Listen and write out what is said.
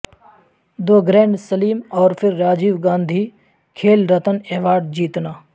دو grand slam اور پھر Rajiv Gandhi Khel Ratna award جیتنا